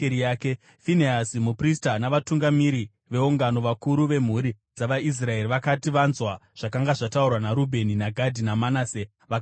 Finehasi muprista, navatungamiri veungano, vakuru vemhuri dzavaIsraeri, vakati vanzwa zvakanga zvataurwa naRubheni naGadhi naManase, vakafara.